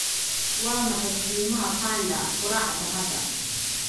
Waa maxay qiimaha panda qoraxda hadda?